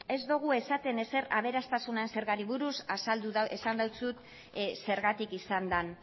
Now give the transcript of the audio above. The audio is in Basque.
ez dugu esaten ezer aberastasuna zergari buruz esan dizut zergatik izan den